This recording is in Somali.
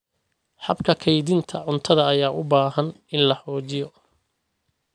Habka kaydinta cuntada ayaa u baahan in la xoojiyo.